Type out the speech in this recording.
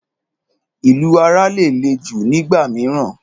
Ìlù ara lè le jù nígbà mìíràn.